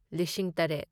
ꯂꯤꯁꯤꯡ ꯇꯔꯦꯠ